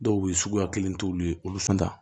Dɔw bɛ yen suguya kelen t'olu ye olu fɛn ta